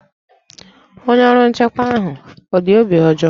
Onye ọrụ nchekwa ahụ ọ dị obi ọjọọ?